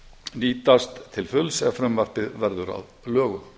nýtast til fulls ef frumvarpið verður að lögum